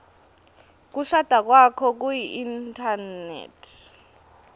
kushada kwakho kuinthanethi